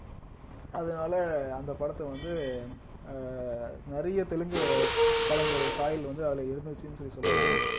அதனால அந்த படத்தை வந்து ஆஹ் நிறைய தெலுங்கு படங்களுடைய சாயல் வந்து அதுல இருந்துச்சுன்னு சொல்லி சொல்லலாம்